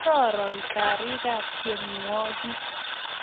kororon karikab tienwogik